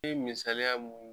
I bi misaliya mun